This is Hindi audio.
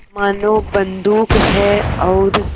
मानो बंदूक है और